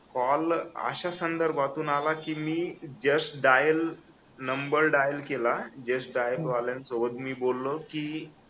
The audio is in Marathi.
कॉल अशा संदर्भातून आला की मी जस्ट डायल नंबर डायल केला जस्ट डायल वाल्यां सोबत मी बोललो की